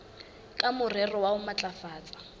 ka morero wa ho matlafatsa